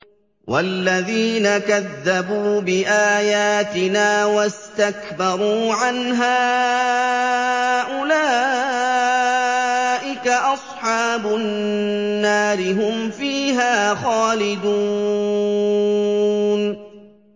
وَالَّذِينَ كَذَّبُوا بِآيَاتِنَا وَاسْتَكْبَرُوا عَنْهَا أُولَٰئِكَ أَصْحَابُ النَّارِ ۖ هُمْ فِيهَا خَالِدُونَ